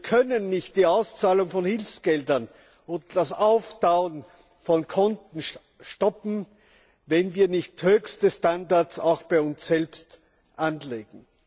Wir können nicht die Auszahlung von Hilfsgeldern und das Auftauen von Konten stoppen, wenn wir nicht höchste Standards auch bei uns selbst anlegen.